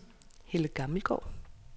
Helle Gammelgaard